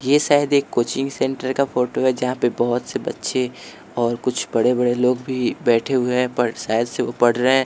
ये शायद एक कोचिंग सेंटर का फोटो है जहां पे बहोत से बच्चे और कुछ बड़े बड़े लोग भी बैठे हुए हैं पर शायद से वो पढ़ रहे हैं।